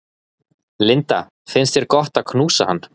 Linda: Finnst þér gott að knúsa hann?